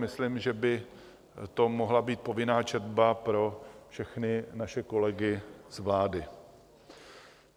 Myslím, že by to mohla být povinná četba pro všechny naše kolegy z vlády.